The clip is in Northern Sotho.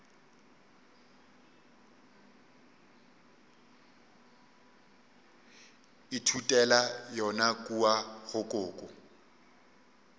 ithutela yona kua go koko